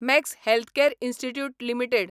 max Healthcare Institute limited